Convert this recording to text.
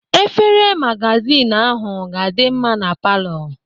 Efere magazin ahụ ga-adị mma na palọ.